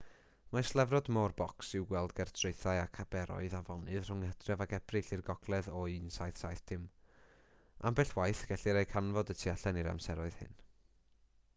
mae slefrod môr bocs i'w gweld ger traethau ac aberoedd afonydd rhwng hydref ac ebrill i'r gogledd o 1770 ambell waith gellir eu canfod y tu allan i'r amseroedd hyn